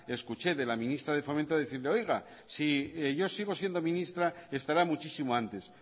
escuché de la ministra de fomento decirle oiga si yo sigo siendo ministra estará muchísimo antes